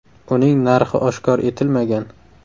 Uning narxi oshkor etilmagan.